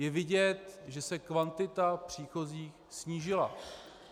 Je vidět, že se kvantita příchozích snížila.